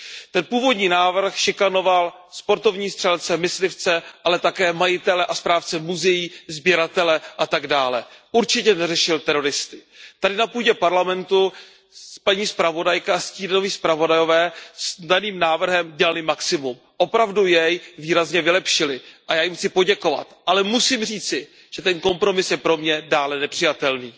Ten původní návrh šikanoval sportovní střelce, myslivce, ale také majitele a správce muzeí, sběratele atd. Určitě neřešil teroristy. Tady na půdě Parlamentu paní zpravodajka, stínoví zpravodajové s daným návrhem dělali maximum, opravdu jej výrazně vylepšili a já jim chci poděkovat. Ale musím říci, že ten kompromis je pro mě dále nepřijatelný.